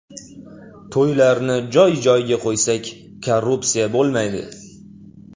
To‘ylarni joy-joyiga qo‘ysak, korrupsiya bo‘lmaydi.